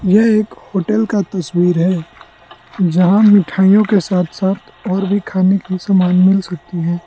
यह एक होटल का तस्वीर है जहां मिठाइयों के साथ साथ और भी खाने की सामान मिल सकती है।